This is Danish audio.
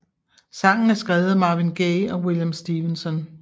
Sangen er skrevet af Marvin Gaye og William Stevenson